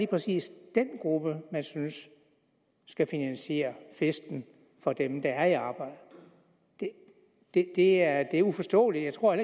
præcis den gruppe man synes skal finansiere festen for dem der er i arbejde det det er uforståeligt jeg tror